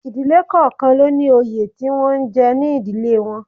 Ìdílé kọ̀ọ̀kan ló ní òye tí wọ́n ń jẹ ní ìdílé wọn